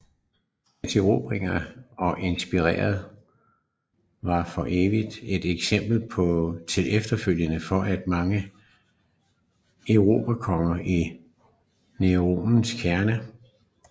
Hans erobringer og imperiet var for evigt et eksempel til efterfølgelse for de mange erobrerkonger i Nærorientens kerne